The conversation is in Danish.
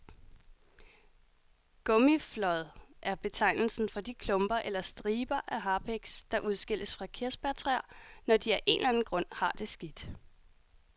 Gummiflåd er betegnelsen for de klumper eller striber af harpiks, der udskilles fra kirsebærtræer, når de af en eller anden grund har det skidt.